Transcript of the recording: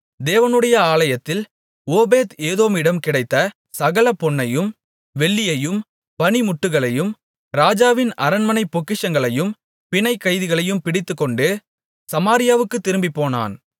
தேவனுடைய ஆலயத்தில் ஓபேத் ஏதோமிடம் கிடைத்த சகல பொன்னையும் வெள்ளியையும் பணிமுட்டுகளையும் ராஜாவின் அரண்மனைப் பொக்கிஷங்களையும் பிணைக்கைதிகளையும் பிடித்துக்கொண்டு சமாரியாவுக்குத் திரும்பிப்போனான்